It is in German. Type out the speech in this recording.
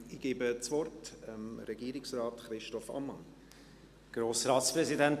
Ich gebe das Wort Regierungsrat Christoph Ammann.